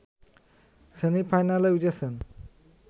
সেমিফাইনালে উঠেছেন